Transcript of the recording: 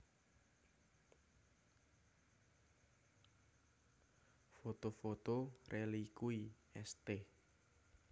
Foto foto rélikui St